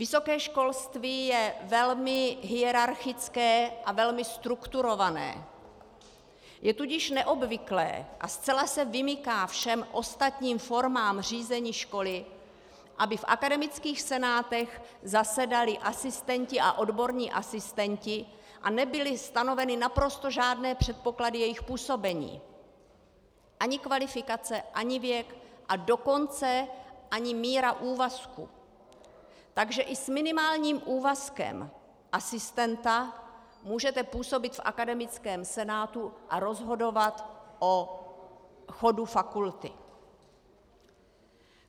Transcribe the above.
Vysoké školství je velmi hierarchické a velmi strukturované, je tudíž neobvyklé a zcela se vymyká všem ostatním formám řízení školy, aby v akademických senátech zasedali asistenti a odborní asistenti a nebyly stanoveny naprosto žádné předpoklady jejich působení - ani kvalifikace, ani věk, a dokonce ani míra úvazku, takže i s minimálním úvazkem asistenta můžete působit v akademickém senátu a rozhodovat o chodu fakulty.